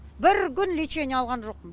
бір күн лечение алған жоқпын